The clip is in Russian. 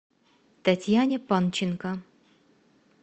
татьяне панченко